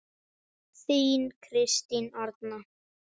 Þín Kristín Arna.